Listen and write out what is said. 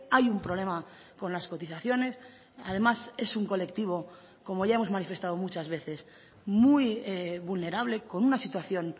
hay un problema con las cotizaciones además es un colectivo como ya hemos manifestado muchas veces muy vulnerable con una situación